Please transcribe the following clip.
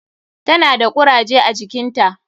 Ta na da kuraje a jikinta.